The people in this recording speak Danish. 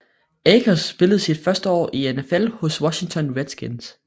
Akers spillede sit første år i NFL hos Washington Redskins